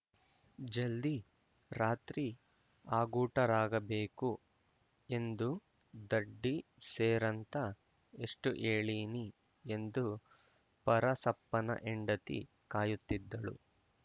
ಜಲ್ದಿ ರಾತ್ರಿ ಆಗೂಟರಾಗ ಬೇಕು ಎಂದು ದಡ್ಡಿ ಸೇರಂತ ಎಷ್ಟುಹೇಳಿನಿ ಎಂದು ಪರಸಪ್ಪನ ಹೆಂಡತಿ ಕಾಯುತ್ತಿದ್ದಳು